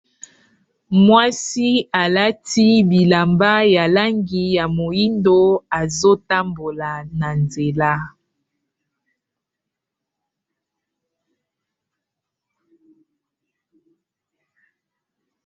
Mwasi alati bilamba ya langi ya moyindo azotambola na nzela.